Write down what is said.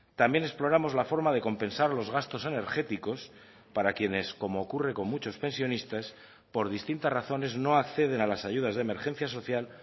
también exploramos la forma de compensar los gastos energéticos para quienes como ocurre con muchos pensionistas por distintas razones no acceden a las ayudas de emergencia social